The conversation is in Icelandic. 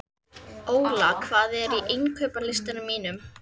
Óla, hvað er á innkaupalistanum mínum?